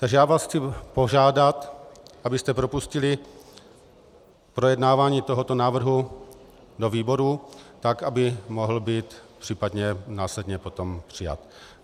Takže já vás chci požádat, abyste propustili projednávání tohoto návrhu do výborů, tak aby mohl být případně následně potom přijat.